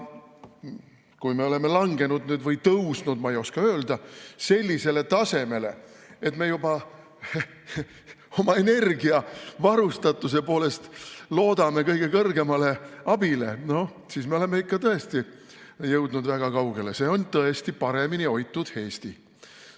Kui me oleme langenud või tõusnud, ma ei oska öelda, sellisele tasemele, et me oma energiavarustatuses loodame juba kõige kõrgemale abile, siis me oleme ikka tõesti jõudnud väga kaugele, see on tõesti paremini hoitud Eesti.